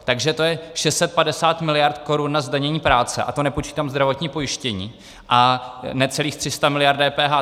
Takže to je 650 miliard korun na zdanění práce, a to nepočítám zdravotní pojištění, a necelých 300 miliard DPH.